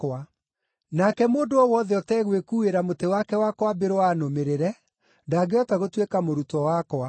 Nake mũndũ o wothe ũtegwĩkuuĩra mũtĩ wake wa kwambĩrwo anũmĩrĩre, ndangĩhota gũtuĩka mũrutwo wakwa.